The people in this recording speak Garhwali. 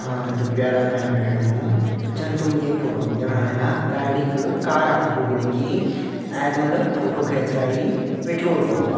हाँ त प्यारा भाई-भेणाे जन तुम ये फोटो मा देखणा वेला गाडी क कार पुटुक बटे की आदमी ल फोटो खेंच रइ पेट्रोल पंप क।